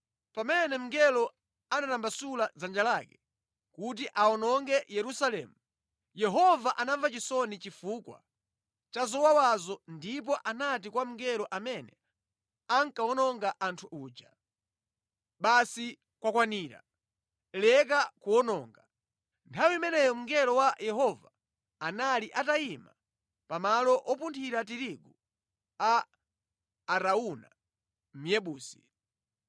Pamene mngelo anatambasula dzanja lake kuti awononge Yerusalemu, Yehova anamva chisoni chifukwa cha zowawazo ndipo anati kwa mngelo amene ankawononga anthu uja, “Basi kwakwanira! Leka kuwononga.” Nthawi imeneyo mngelo wa Yehova anali atayima pamalo opunthira tirigu a Arauna Myebusi.